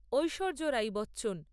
Aishwarya Rai Bachchan